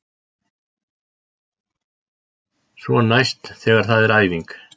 Svo næst þegar það er æfing.